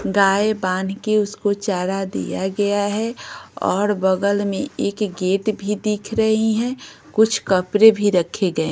गाय बांध के उसको चारा दिया गया है और बगल में एक गेट भी दिख रही हैं कुछ कपड़े भी रखे गए--